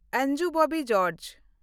Anju Bobby George